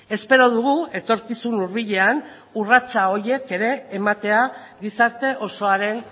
espero dugu etorkizun hurbilean urratsa horiek ere ematea gizarte osoaren